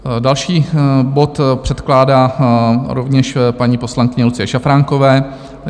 Další bod předkládá rovněž paní poslankyně Lucie Šafránková.